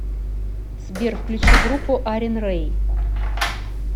сбер включи группу арин рэй